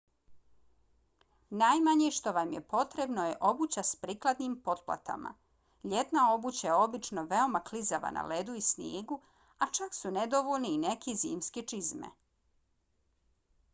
najmanje što vam je potrebno je obuća s prikladnim potplatama. ljetna obuća je obično veoma klizava na ledu i snijegu a čak su nedovoljne i neke zimske čizme